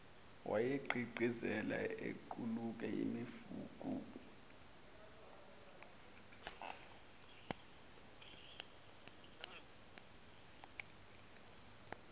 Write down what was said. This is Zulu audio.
wayegqigqizela equkula imifuqulu